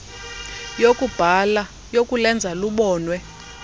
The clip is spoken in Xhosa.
yokubhala yokulenza lubonwe